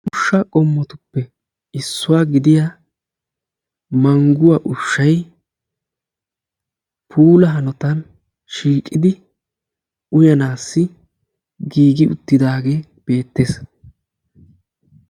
Ushsha qommotuppe issuwaa gidiyaa mangguwaa ushshay puula hanotan shiiqidi uyaanassi giigi uttidaage beettees.